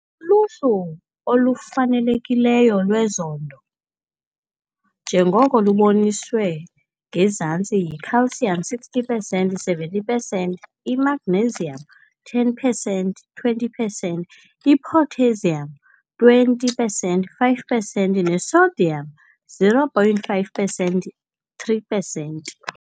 Uluhlu olufanelekileyo lwezondo njengoko luboniswe ngezantsi yiCalcium - 60 pesenti 70 pesenti, iMagnesium -10 pesenti 20 pesenti, iPotassium - 20 pesenti 5 pesenti neSodium - 0,5 pesenti 3 pesenti.